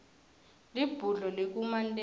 libhudlo likumantenga